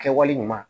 Kɛwale ɲuman